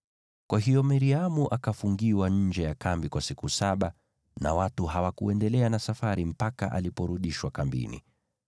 Kwa hiyo Miriamu akafungiwa nje ya kambi kwa siku saba, nao watu hawakuendelea na safari mpaka aliporudishwa kambini.